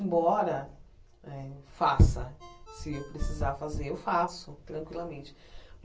Embora eh faça, se eu precisar fazer, eu faço tranquilamente.